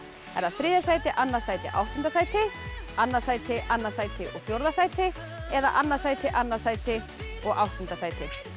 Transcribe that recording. er það þriðja sæti annað sæti áttunda sæti annað sæti annað sæti og fjórða sæti eða annað sæti annað sæti og áttunda sæti